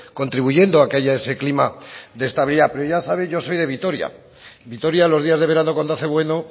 contribuyendo a que haya ese clima de estabilidad pero ya sabéis yo soy de vitoria vitoria los días de verano cuando hace bueno